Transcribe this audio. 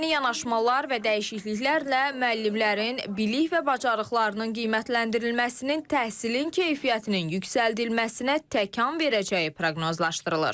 Yeni yanaşmalar və dəyişikliklərlə müəllimlərin bilik və bacarıqlarının qiymətləndirilməsinin təhsilin keyfiyyətinin yüksəldilməsinə təkan verəcəyi proqnozlaşdırılır.